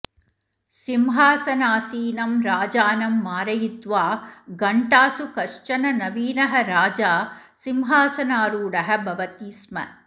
सिंहासनासीनं राजानं मारयित्वा घण्टासु कश्चन नवीनः राजा सिंहासनारूढः भवति स्म